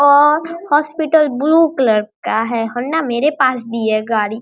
और hospital blue colour का है होंडा मेरे पास भी है गाड़ी।